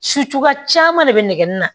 Su cogoya de bɛ nɛgɛnni na